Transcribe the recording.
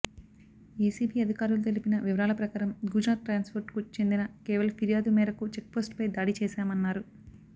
ACB అధికారులు తెలిపిన వివరాల ప్రకారం గుజరాత్ ట్రాన్స్ఫోర్ట్కు చెందిన కేవల్ ఫిర్యాదు మేరకు చెక్పోస్టుపై దాడి చేశామన్నారు